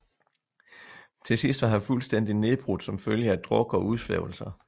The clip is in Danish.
Til sidst var han fuldstændig nedbrudt som følge af druk og udsvævelser